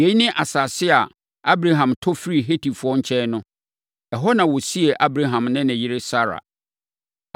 Yei ne asase a Abraham tɔ firii Hetifoɔ nkyɛn no. Ɛhɔ na wɔsiee Abraham ne ne yere Sara.